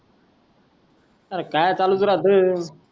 अरे काई चालूस राहतोय